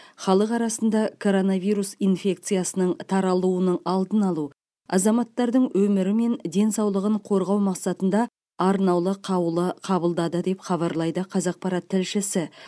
халық арасында коронавирус инфекциясының таралуының алдын алу азаматтардың өмірі мен денсаулығын қорғау мақсатында арнаулы қаулы қабылдады деп хабарлайды қазақпарат тілшісі